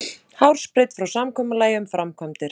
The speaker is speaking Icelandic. Hársbreidd frá samkomulagi um framkvæmdir